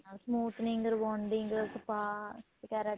ਨਾਲ smoothing rebounding spa ਵਗੈਰਾ